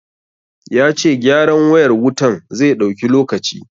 Ya ce gyaran wayar wutan zai ɗauki lokaci.